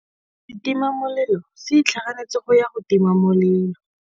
Setima molelô se itlhaganêtse go ya go tima molelô.